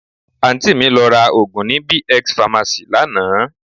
Àǹtí mi lọ ra òògùn ní B-X pharmacy lánàá